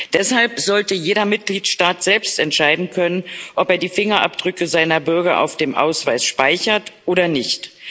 Deshalb sollte jeder Mitgliedstaat selbst entscheiden können, ob er die Fingerabdrücke seiner Bürger auf dem Ausweis speichert oder nicht.